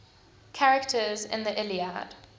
characters in the iliad